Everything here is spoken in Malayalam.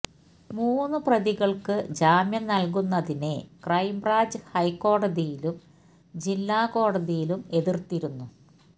മൂന്ന് പ്രതികള്ക്ക് ജാമ്യം നല്കുന്നതിനെ ക്രൈംബ്രാഞ്ച് ഹൈക്കോടതിയിലും ജില്ലാ കോടതിയിലും എതിര്ത്തിരുന്നു